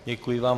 Děkuji vám.